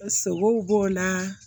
Sogow b'o la